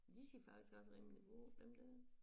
De ser faktisk også rimelig gode ud dem der